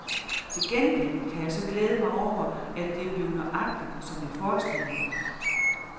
Til gengæld kan jeg så glæde mig over, at det er blevet nøjagtigt, som jeg forestillede mig.